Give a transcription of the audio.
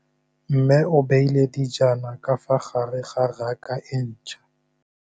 Mmê o beile dijana ka fa gare ga raka e ntšha.